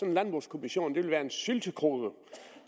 en landbrugskommission ville være en syltekrukke